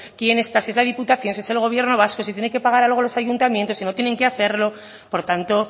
quién está si es la diputación si es el gobierno vasco si tiene que pagar algo los ayuntamientos si no tienen que hacerlo por tanto